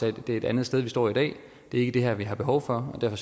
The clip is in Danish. at det er et andet sted vi står i dag det er ikke det her vi har behov for og derfor